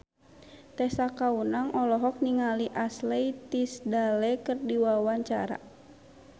Tessa Kaunang olohok ningali Ashley Tisdale keur diwawancara